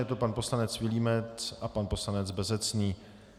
Je to pan poslanec Vilímec a pan poslanec Bezecný.